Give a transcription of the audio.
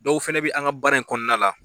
Dɔw fana bɛ an ka baara in kɔnɔna la